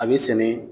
A bɛ sɛnɛ